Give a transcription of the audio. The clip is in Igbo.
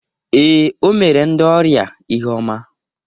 Ee, o mere ndị ọrịa ihe ọma